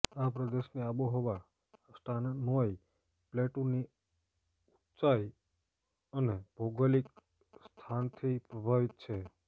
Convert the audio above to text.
આ પ્રદેશની આબોહવા સ્ટાનનોઈ પ્લેટુની ઊંચાઇ અને ભૌગોલિક સ્થાનથી પ્રભાવિત છે